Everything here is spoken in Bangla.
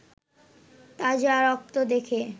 তাজা রক্ত দেখে